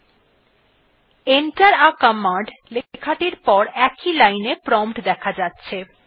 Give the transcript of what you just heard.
enter থে command লেখাটির পর একই লাইনে প্রম্পট দেখা যাচ্ছে